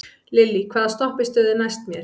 Lillý, hvaða stoppistöð er næst mér?